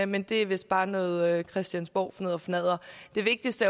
men det er vist bare noget christianborgfnidderfnadder det vigtigste